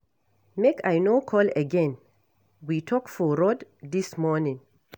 Make I no call again, we talk for road dis morning.